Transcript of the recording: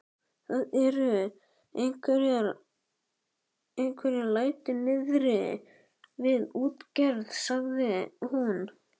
Það eru einhver læti niðri við útgerð, sagði hún.